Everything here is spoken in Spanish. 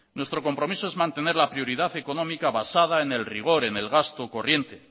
nuestro compromiso es mantener la prioridad económica basada en el rigor en el gasto corriente